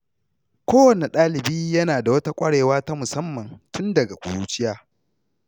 Kowane ɗalibi yana da wata ƙwarewa ta musamman tun daga ƙuruciya.